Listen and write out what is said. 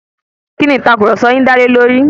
Kíni ìtàkurọ̀sọ yin dá lé lórí?